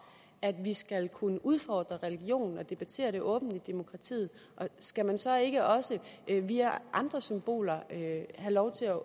at vi skal kunne udfordre religioner og debattere dem åbent i demokratiet skal man så ikke også via andre symboler have lov til at